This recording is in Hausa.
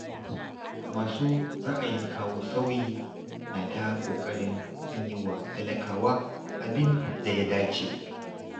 Masu ra'ayin kawo sauyi na ta ƙoƙarin an yi wa talakawa abin da ya dace.